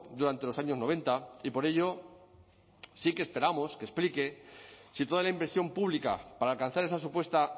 durante los años noventa y por ello sí que esperamos que explique si toda la inversión pública para alcanzar esa supuesta